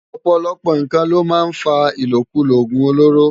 Òpòlòpò nkán ló má n fá ilókúló ógún ólóró